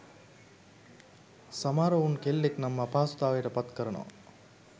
සමහර උන් කෙල්ලෙක් නම් අපහසුතාවයට පත් කරනවා